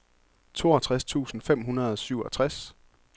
toogtres tusind fem hundrede og syvogtres